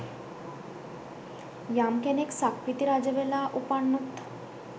යම් කෙනෙක් සක්විති රජවෙලා උපන්නොත්